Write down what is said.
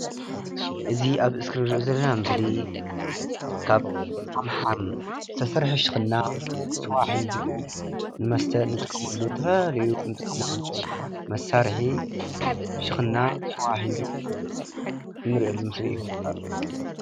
እዚ አብ እስኪሪነ እንሪኦ ዘለና ምስሊ ካብ ዓምሓም ዝተሰርሐ ሽክና ስዋ ሒዙ ንመስተ ንጥቀመሉ ዝተፈላለዩ ንጥቀመሉ መሳርሒ ሽክና ስዋ ሒዙ እንሪኦሉ ምስሊ እዩ፡፡